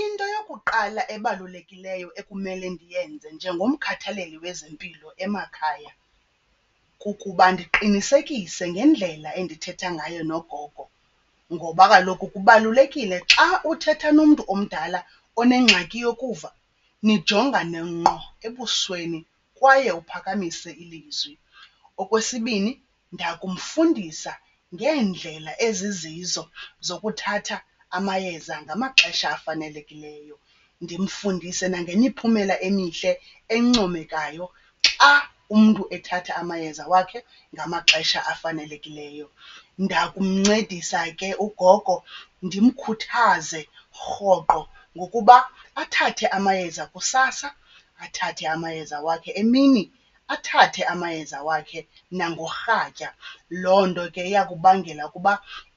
Into yokuqala ebalulekileyo ekumele ndiyenze njengomkhathaleli wezempilo emakhaya kukuba ndiqinisekise ngendlela endithetha ngayo nogogo ngoba kaloku kubalulekile xa uthetha nomntu omdala onengxaki yokuva nijongane ngqo ebusweni kwaye uphakamise ilizwi. Okwesibini, ndakumfundisa ngeendlela ezizizo zokuthatha amayeza ngamaxesha afanelekileyo. Ndimfundise nangemiphumela emihle encomekayo xa umntu ethatha amayeza wakhe ngamaxesha afanelekileyo. Ndakumncedisa ke ugogo ndimkhuthaze rhoqo ngokuba athathe amayeza kusasa, athathe amayeza wakhe emini, athathe amayeza wakhe nangorhatya. Loo nto ke iyakubangela ukuba